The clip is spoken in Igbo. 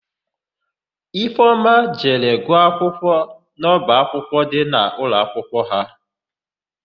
Ifeọma jere gụọ akwụkwọ n'ọbaakwụkwọ dị n'ụlọakwụkwọ ha.